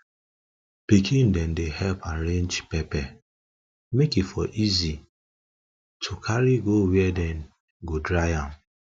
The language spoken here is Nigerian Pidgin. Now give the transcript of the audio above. pikin dem dey help arrange pepper make e for easy e for easy to carry go where dem go dry am